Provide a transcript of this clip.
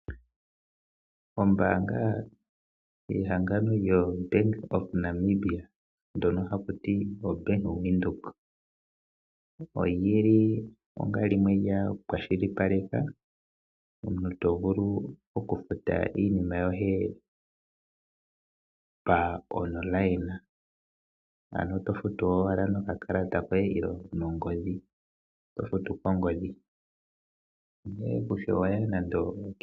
Ombaanga yehangano lyoBank of Namibia ndjono haku tiwa oBank Windhoek, oyi li onga limwe lya kwashilipaleka, omuntu to vulu okufuta iinima yoye pamalungula, ano to futu nokakalata koye nenge nongodhi. To futu kongodhi.